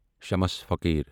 شمش فقیر